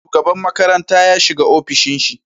Shugaban makaranta ya shiga ofishin shi